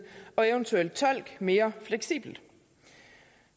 og en eventuel tolk mere fleksibel